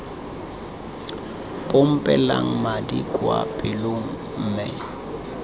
pompelang madi kwa pelong mme